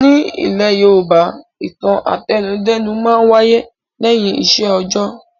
Nílẹ̀ Yorùbá, ìtàn àtẹnudẹ́nu máa ń wáyé lẹ́yìn iṣẹ́ òjọ́.